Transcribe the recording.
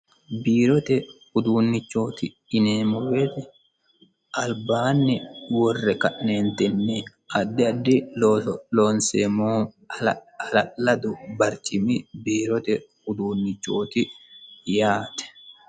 Biirote uduunchoti yineemmo woyte albaanni worre ka'nenitinni addi addi looso loonseemmohu hala'ladu barcimi biirote ofolinannirichoti yaate.